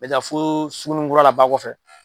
n bɛ taa fo Sugunikura la ba kɔfɛ.